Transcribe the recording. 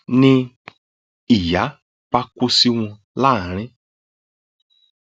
ni ìyà bá kó sí wọn láàrín